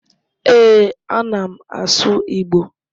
Ee, a na m asụ Igbo